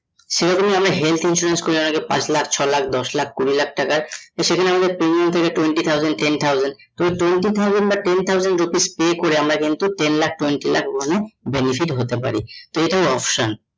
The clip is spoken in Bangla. সেরকমই আমি health insurance করার আগে পাঁচ লক্ষ, ছয় লক্ষ, দশ লক্ষ, কুড়ি লক্ষ টাকার সেখানে আমাদের premium থেকে twenty thousand ten thousand twenty thousand বা ten thousand rupees pay করে আমরা কিন্তু ten lakh twenty lakh benefit হতে পারি তো এটাই option